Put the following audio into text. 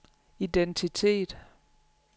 identitet